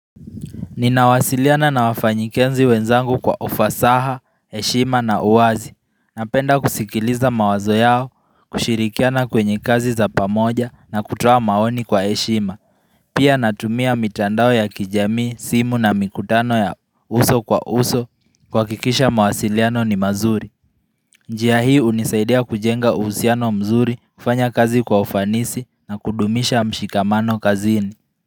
Ninawasiliana na wafanyikanzi wenzangu kwa ufasaha, heshima na uwazi Napenda kusikiliza mawazo yao, kushirikiana kwenye kazi za pamoja na kutoa maoni kwa heshima Pia natumia mitandao ya kijamii, simu na mikutano ya uso kwa uso kuhakikisha mawasiliano ni mazuri njia hii unisaidia kujenga uhusiano mzuri, kufanya kazi kwa ufanisi na kudumisha mshikamano kazini.